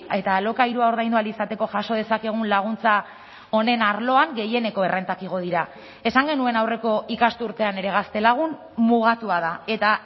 eta alokairua ordaindu ahal izateko jaso dezakegun laguntza honen arloan gehieneko errentak igo dira esan genuen aurreko ikasturtean ere gaztelagun mugatua da eta